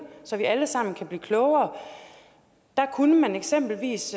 så vi alle sammen kan blive klogere der kunne man eksempelvis